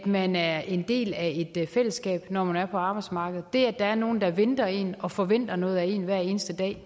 man er en del af et fællesskab når man er på arbejdsmarkedet det er nogle der venter en og forventer noget af en hver eneste dag